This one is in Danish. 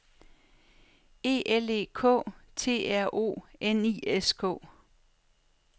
E L E K T R O N I S K